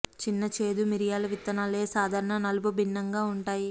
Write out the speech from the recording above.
చిన్న చేదు మిరియాలు విత్తనాలు ఏ సాధారణ నలుపు భిన్నంగా ఉంటాయి